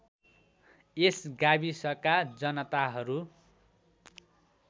यस गाविसका जनताहरू